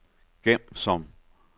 gem som